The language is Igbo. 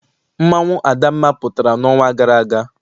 Mmanwụ adamma pụtara n'ọnwa gara aga.